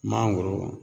Mangoro